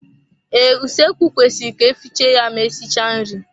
Ee, usoekwu kwesịrị ka efiche ya ma esichaa nri.